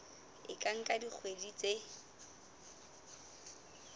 e ka nka dikgwedi tse